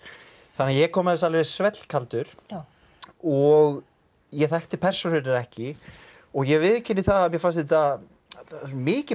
þannig að ég kom að þessu svellkaldur og ég þekkti persónurnar ekki og ég viðurkenni að mér fannst þetta mikið